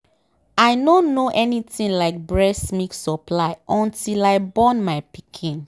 i nor know anything like breast milk supply until i born my pikin